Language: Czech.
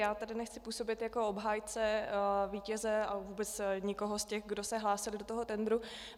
Já tady nechci působit jako obhájce vítěze a vůbec nikoho z těch, kdo se hlásili do toho tendru.